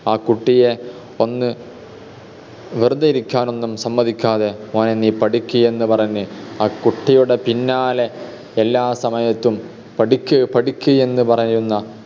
ആ കുട്ടിയെ ഒന്ന് വെറുതെ ഇരിക്കാനൊന്നും സമ്മതിക്കാതെ മോനെ നീ പഠിക്ക് എന്ന് പറഞ്ഞ് ആ കുട്ടിയുടെ പിന്നാലെ എല്ലാ സമയത്തും പഠിക്ക് പഠിക്ക് എന്ന് പറയുന്ന